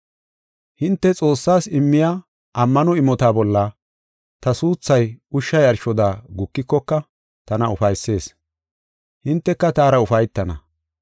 Hinte Xoossaas immiya ammano imota bolla ta suuthay ushsha yarshoda gukikoka tana ufaysees. Hinteka taara ufaytana.